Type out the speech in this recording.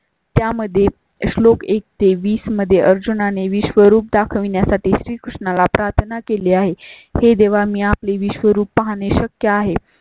त्यामध्यें श्लोक एक ते वीस मध्ये अर्जुना ने विश्वरूप दाखवण्यासाठी श्री कृष्णा ला प्रार्थना केली आहे. हे देवा मी आपली विश्वरूप पाहणे शक्य आहे